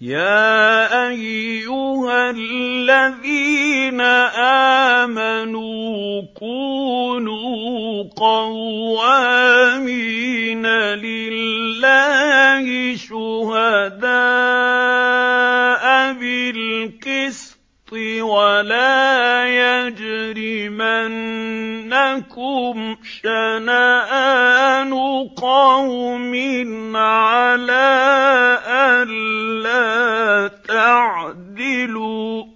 يَا أَيُّهَا الَّذِينَ آمَنُوا كُونُوا قَوَّامِينَ لِلَّهِ شُهَدَاءَ بِالْقِسْطِ ۖ وَلَا يَجْرِمَنَّكُمْ شَنَآنُ قَوْمٍ عَلَىٰ أَلَّا تَعْدِلُوا ۚ